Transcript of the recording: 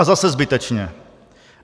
A zase zbytečně.